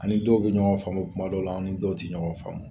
Ani dɔw tɛ ɲɔgɔn faamu kuma dɔw la an ni dɔw tɛ ɲɔgɔn faamu